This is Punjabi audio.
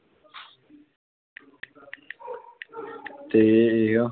ਤੇ ਇਹ,